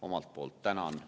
Omalt poolt tänan.